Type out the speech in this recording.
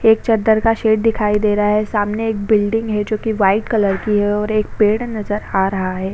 एक चद्दर का शेड दिखाई दे रहा है सामने एक बिल्डिंग है जो की वाइट कलर की है और एक पेड नज़र आ रहा है।